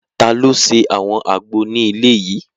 Taló ṣe àwọn àgbo ní ilé yìí?